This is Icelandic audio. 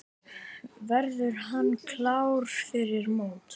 Verður hann klár fyrir mót?